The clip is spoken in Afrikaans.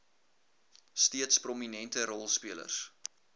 steeds prominente rolspelers